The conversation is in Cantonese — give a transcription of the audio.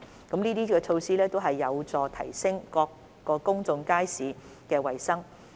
這些措施均有助提升各公眾街市的衞生。